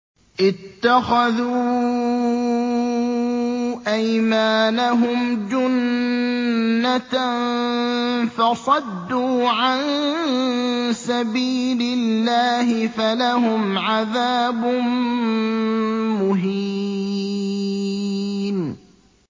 اتَّخَذُوا أَيْمَانَهُمْ جُنَّةً فَصَدُّوا عَن سَبِيلِ اللَّهِ فَلَهُمْ عَذَابٌ مُّهِينٌ